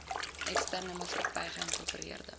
eksterne maatsakappy geïnkorpereerde